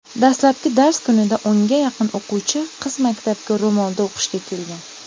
dastlabki dars kunida o‘nga yaqin o‘quvchi qiz maktabga ro‘molda o‘qishga kelgan.